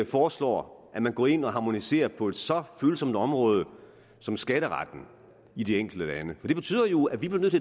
foreslår at man går ind og harmoniserer på et så følsomt område som skatteretten i de enkelte lande det betyder jo at vi bliver nødt